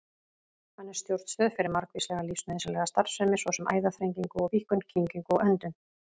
Hann er stjórnstöð fyrir margvíslega lífsnauðsynlega starfsemi, svo sem æðaþrengingu og-víkkun, kyngingu og öndun.